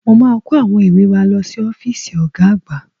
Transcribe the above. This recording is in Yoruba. Mo máa kó àwọn ìwé wa lọ sí ọ́fíìsì Ọ̀ga àgbà